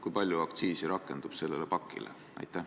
Kui palju aktsiisi rakendub sellele pakile?